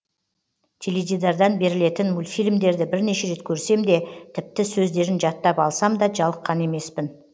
теледидардан берілетін мультфильмдерді бірнеше рет көрсем де тіпті сөздерін жаттап алсам да жалыққан емеспін